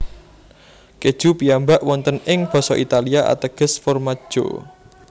Keju piyambak wonten ing basa Italia ateges formaggio